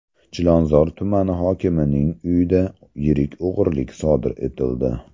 Chilonzor tumani hokimining uyida yirik o‘g‘rilik sodir etildi.